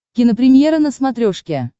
кинопремьера на смотрешке